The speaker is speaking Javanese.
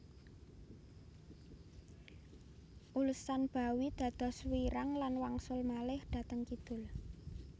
Ulsanbawi dados wiirang lan wangsul malih dhateng kidul